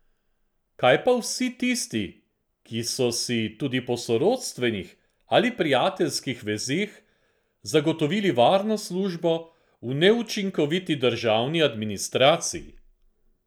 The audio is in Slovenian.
Kaj pa vsi tisti, ki so si, tudi po sorodstvenih ali prijateljskih vezeh, zagotovili varno službo v neučinkoviti državni administraciji?